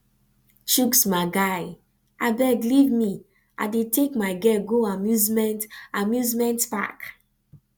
chuks my guy abeg leave me i dey take my girl go amusement amusement park